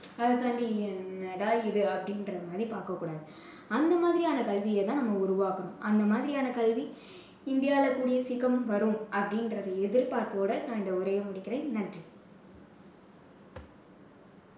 அதைத் தாண்டி என்னடா இது அப்படீன்ற மாதிரி பார்க்கக் கூடாது. அந்த மாதிரியான கல்வியை தான் நம்ம உருவாக்கணும். அந்த மாதிரியான கல்வி இந்தியால கூடிய சீக்கிரம் வரும் அப்படின்கற எதிர்பார்ப்போட நான் இந்த உரையை முடிக்கிறேன். நன்றி.